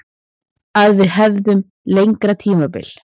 Að við hefðum lengra tímabil.